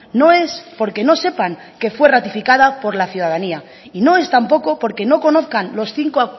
no es porque no sepan que fue ratificado por la ciudadanía y no es tampoco porque no conozcan los cinco